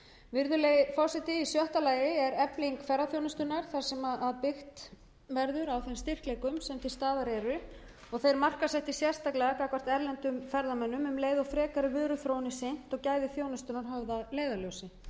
virðulegi forseti í sjötta lagi er efling ferðaþjónustunnar þar sem byggt verður á þeim styrkleikum sem til staðar eru og þeir markaðssettir sérstaklega gagnvart erlendum ferðamönnum um leið og frekari vöruþróun er sinnt og gæði þjónustunnar höfð að leiðarljósi sem dæmi um öfluga vöruþjónustu sem á sér nú